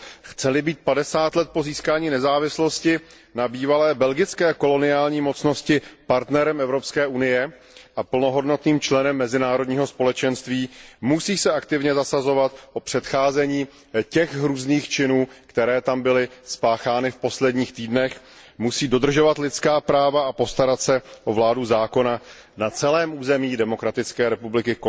Chce li být padesát let po získání nezávislosti na bývalé belgické koloniální mocnosti partnerem Evropské unie a plnohodnotným členem mezinárodního společenství, musí se aktivně zasazovat o předcházení těch hrůzných činů, které tam byly spáchány v posledních týdnech, musí dodržovat lidská práva a postarat se o vládu zákona na celém území Konžské demokratické republiky.